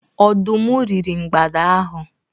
Ọdụm riri mgbada ahụ.